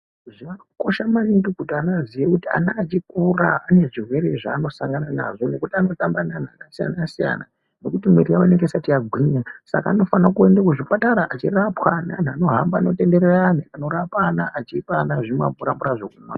Zvakakosha maningi kuti ana aziye kuti ana achikura ane zvirwere zvaanosangana nazvo nekuti anotamba neanhu akasiyana-siyana ngekuti mwiri yawo inenge isati yagwinya, saka anofanira kuende kuzvipatara echirapwa neanhu anohamba anotenderera ayani anorapa ana echipa ana zvimamvuramvura zvekumwa.